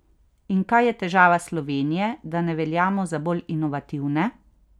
In kaj je težava Slovenije, da ne veljamo za bolj inovativne?